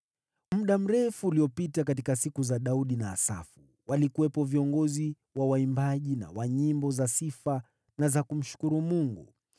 Muda mrefu uliopita, katika siku za Daudi na Asafu, walikuwepo viongozi wa waimbaji na wa nyimbo za sifa na za kumshukuru Mungu.